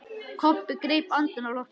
Kobbi greip andann á lofti.